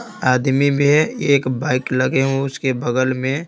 आदमी में एक बाइक लगे हुए उसके बगल में--